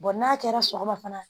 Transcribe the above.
n'a kɛra sɔgɔma fana